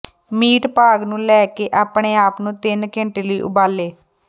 meat ਭਾਗ ਨੂੰ ਲੈ ਕੇ ਆਪਣੇ ਆਪ ਨੂੰ ਤਿੰਨ ਘੰਟੇ ਲਈ ਉਬਾਲੇ